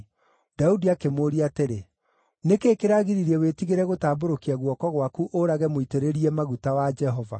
Daudi akĩmũũria atĩrĩ, “Nĩ kĩĩ kĩragiririe wĩtigĩre gũtambũrũkia guoko gwaku ũũrage mũitĩrĩrie maguta wa Jehova?”